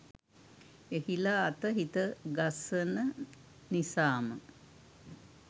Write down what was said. එහිලා අත හිත ගසන නිසාම